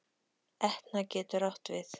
Etna getur átt við